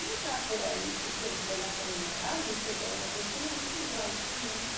Não está por aí porque ele foi lá para a minha casa e chegou lá e falou assim, me arruma um quartinho aí.